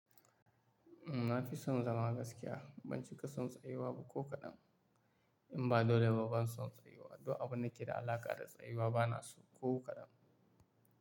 Na fi son zama gaskiya, ban cika son tsayuwa ba ko kaɗan. In ba dole ba ban son tsayuwa, duk abun da ke da alaƙa da tsayuwa bana so ko kaɗan.